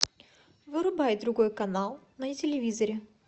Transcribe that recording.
вырубай другой канал на телевизоре